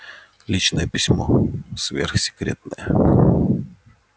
личное письмо сверхсекретное